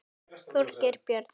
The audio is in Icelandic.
Þorgeir Björn.